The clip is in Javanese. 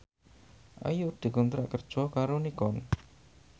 Ayu dikontrak kerja karo Nikon